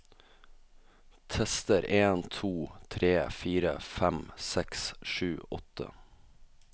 Tester en to tre fire fem seks sju åtte